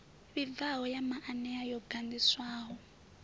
vhibvaho ya maanea yo ganḓiswaho